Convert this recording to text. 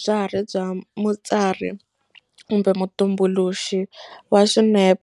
bya ha ri bya mutsari kumbe mutumbuluxi wa swinepe